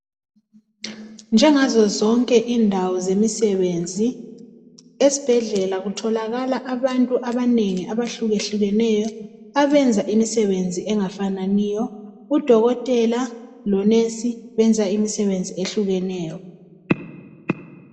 Njengazo zonke indawo zomsebenzi esibhedlela kutholakala abantu abahluke hlukeneyo ebenza imisebenzi engafananiyo udokotela lomongikazi benza imisebenzi ehlukeneyo